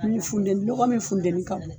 Ni funteni lɔgɔ min funteni ka bon